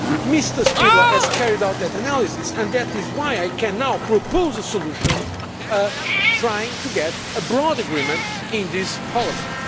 Mr Špidla has carried out that analysis, and that is why I can now propose a solution, trying to get a broad agreement in this Parliament.